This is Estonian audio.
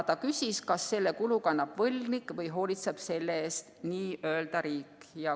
Ta küsis, kas selle kulu kannab võlgnik või hoolitseb selle eest n‑ö riik.